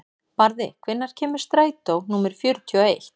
Barði, hvenær kemur strætó númer fjörutíu og eitt?